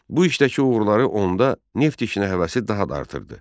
Bu işdəki uğurları onda neft işinə həvəsi daha da artırdı.